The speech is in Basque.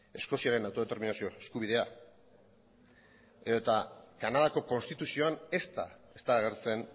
eskoziaren autodeterminazio eskubidea edota kanadako konstituzion ezta ez da agertzen